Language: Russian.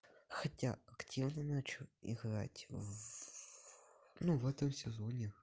хотя активно начал играть в ну в этом сезоне